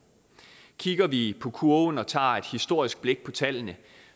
kigger vi på kurven og tager et historisk blik på tallene